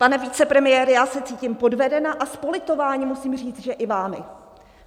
Pane vicepremiére, já se cítím podvedena a s politováním musím říct, že i vámi!